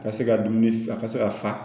Ka se ka dumuni ka se ka fa